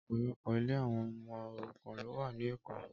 Ọpọlọpọ ilé awọn ọmọ órùkàn lò wà ni Ékó